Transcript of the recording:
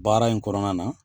Baara in kɔnɔna na